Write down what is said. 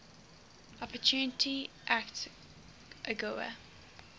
opportunity act agoa